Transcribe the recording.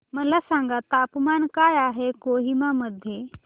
मला सांगा तापमान काय आहे कोहिमा मध्ये